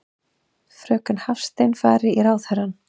Fröken Hafstein fari í ráðherrann.